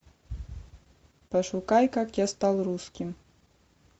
пошукай как я стал русским